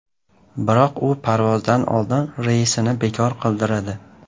Biroq u parvozdan oldin reysini bekor qildiradi.